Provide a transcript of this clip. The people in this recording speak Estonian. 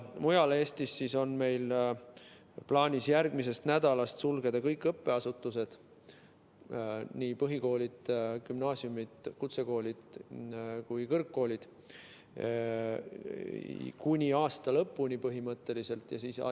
Mujal Eestis on meil plaanis järgmisest nädalast sulgeda kõik õppeasutused, nii põhikoolid, gümnaasiumid, kutsekoolid kui ka kõrgkoolid põhimõtteliselt kuni aasta lõpuni.